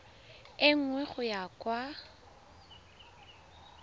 e nngwe go ya kwa